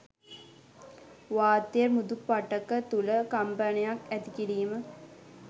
වාතය මෘදු පටක තුළ කම්පනයක් ඇතිකිරීම